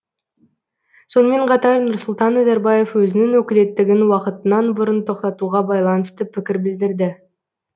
сонымен қатар нұрсұлтан назарбаев өзінің өкілеттігін уақытынан бұрын тоқтатуға байланысты пікір білдірді